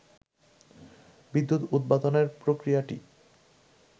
বিদ্যুৎ উৎপাদনের প্রক্রিয়াটি